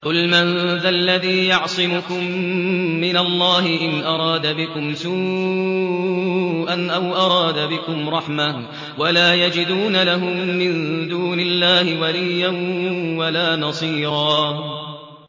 قُلْ مَن ذَا الَّذِي يَعْصِمُكُم مِّنَ اللَّهِ إِنْ أَرَادَ بِكُمْ سُوءًا أَوْ أَرَادَ بِكُمْ رَحْمَةً ۚ وَلَا يَجِدُونَ لَهُم مِّن دُونِ اللَّهِ وَلِيًّا وَلَا نَصِيرًا